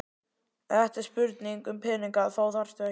Ef þetta er spurning um peninga þá þarftu ekki.